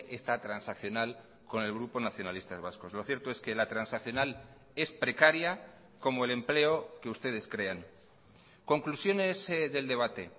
está transaccional con el grupo nacionalistas vascos lo cierto es que la transaccional es precaria como el empleo que ustedes crean conclusiones del debate